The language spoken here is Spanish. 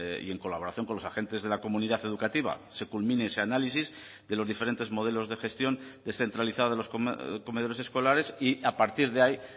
y en colaboración con los agentes de la comunidad educativa se culmine ese análisis de los diferentes modelos de gestión descentralizada de los comedores escolares y a partir de ahí